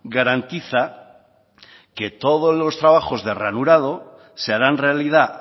garantiza que todos los trabajos de ranurado se harán realidad